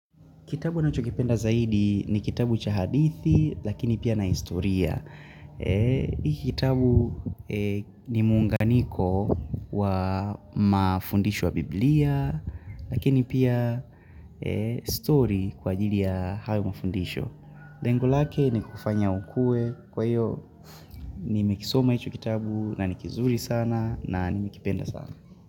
Kitabu ninachokipenda zaidi ni kitabu cha hadithi, lakini pia na historia. Hiki kitabu ni muunganiko wa mafundisho ya biblia, lakini pia story kwa ajili ya hayo mafundisho. Lengo lake ni kufanya ukue. Kwa hiyo, nimekisoma hicho kitabu na ni kizuri sana na nimekipenda sana.